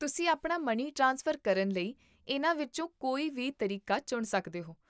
ਤੁਸੀਂ ਆਪਣਾ money transfer ਕਰਨ ਲਈ ਇਹਨਾਂ ਵਿੱਚੋਂ ਕੋਈ ਵੀ ਤਰੀਕਾ ਚੁਣ ਸਕਦੇ ਹੋ